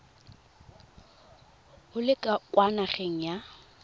o le kwa nageng ya